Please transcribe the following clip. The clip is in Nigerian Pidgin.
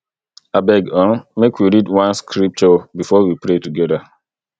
abeg um make we read one scripture before we pray togeda